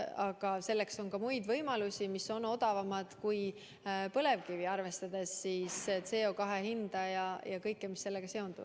Aga selleks on ka muid võimalusi, mis on odavamad kui põlevkivi, arvestades CO2 hinda ja kõike, mis sellega seondub.